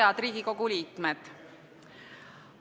Head Riigikogu liikmed!